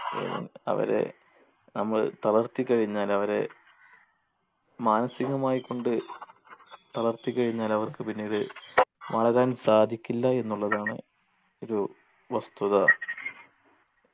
അവരെ നമ്മൾ തളർത്തി കഴിഞ്ഞാൽ അവരെ മാനസികമായി കൊണ്ട് തളർത്തി കഴിഞ്ഞാൽ അവർക്ക് പിന്നീട് വളരാൻ സാധിക്കില്ല എന്നുള്ളതാണ്ഒരു വസ്തുത